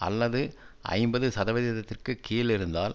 அல்லது ஐம்பது சதவீதத்திற்கு கீழிருந்தால்